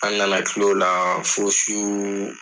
An na na kil'o la fo su